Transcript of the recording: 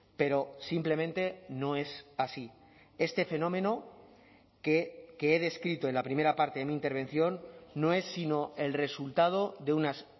pero simplemente no es así este fenómeno que he descrito en la primera parte de mi intervención no es sino el resultado de unas